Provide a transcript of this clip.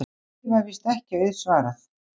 Því var víst ekki auðsvarað.